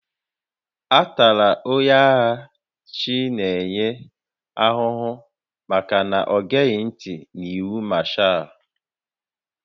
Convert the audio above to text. A tara onye agha Chinenye ahụhụ maka na o geghị ntị n'iwu Mashaal